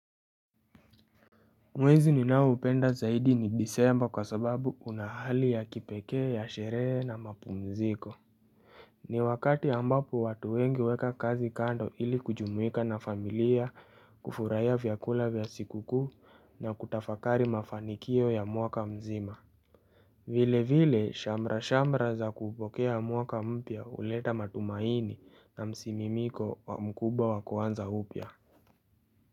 Mwezi ninao upenda zaidi ni Disemba kwa sababu una hali ya kipeke ya sherehe na mapumziko ni wakati ambapo watu wengi weka kazi kando ili kujumuika na familia kufurahi vyakula vya sikuku na kutafakari mafanikio ya muaka mzima vile vile shamra shamra za kupokea muaka mpya uleta matumaini na msimimiko wa mkubwa wakuanza upya.